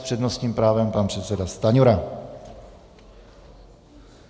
S přednostním právem pan předseda Stanjura.